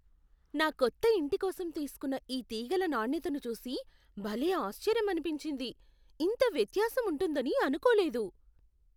నా కొత్త ఇంటి కోసం తీసుకున్న ఈ తీగల నాణ్యతను చూసి భలే ఆశ్చర్యమనిపించింది. ఇంత వ్యత్యాసం ఉంటుందని అనుకోలేదు!